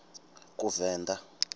kuvenḓa